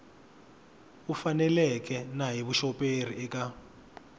faneleke na hi vuxoperi eka